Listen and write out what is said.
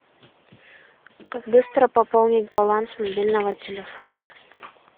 как быстро пополнить баланс мобильного телефона